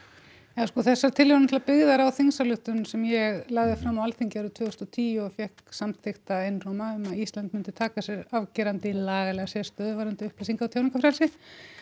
ja þessar tillögur eru byggðar á þingsályktun sem ég lagði fram á þingi árið tvö þúsund og tíu og fékk samþykkta einróma um að Ísland myndi taka sér afgerandi lagalega sérstöðu varðandi upplýsinga og tjáningarfrelsi